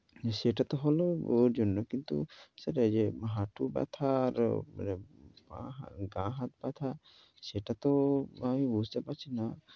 সেটা তো হলো ও জন্য, কিন্তু সেটাই যে হাঁটু ব্যথা আর গা-হাত ব্যথা সেটাতো আমি বুঝতে পারছি না।